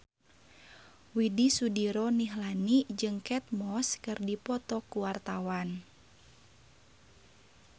Widy Soediro Nichlany jeung Kate Moss keur dipoto ku wartawan